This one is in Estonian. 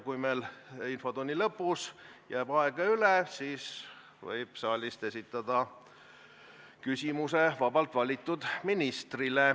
Kui meil infotunni lõpus jääb aega üle, siis võib saalist esitada küsimusi vabalt valitud ministrile.